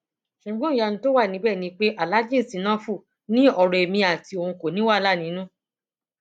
ṣùgbọn ìyanu tó wà níbẹ ni pé aláàjì sínáfì ní ọrọ ẹmí àti òun kò ní wàhálà nínú